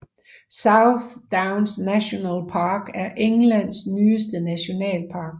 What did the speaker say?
South Downs National Park er Englands nyeste nationalpark